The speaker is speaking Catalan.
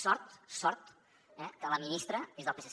sort sort eh que la ministra és del psc